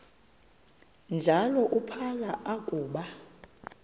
njalo uphalo akuba